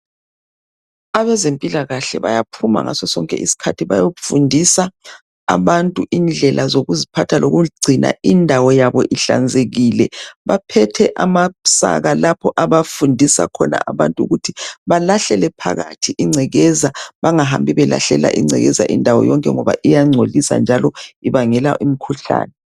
Abezempilakahle bayaphuma ngaso sonke isikhathi. Bayofundisa abantu indlela zokuziphatha, lokugcina indawo yabo ihlanzekile. Baphethe amasaka, lapho abafundisa khona abantu ukuthi balahlele phakathi ingcekeza. Bangahambi belahlela ingcekeza indawo yonke ngoba iyangcolisa, njalo ibangela imkhuhlane.